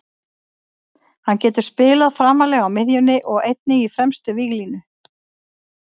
Hann getur spilað framarlega á miðjunni og einnig í fremstu víglínu.